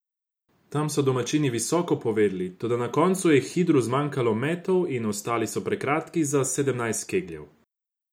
Tam so domačini visoko povedli, toda na koncu je Hidru zmanjkalo metov in ostali so prekratki za sedemnajst kegljev.